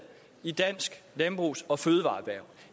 i dansk landbrugs og fødevareerhverv